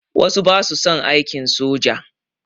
Wasu ba su son aiki soja.